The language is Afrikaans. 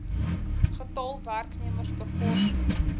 getal werknemers bevorder